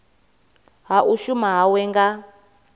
ha u shuma hawe nga